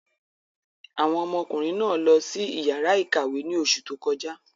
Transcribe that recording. Àwọn ọmọkùnrin náà lọ sí ìyàrá-ìkàwé ní oṣù tó kọjá.